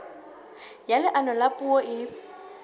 ya leano la puo e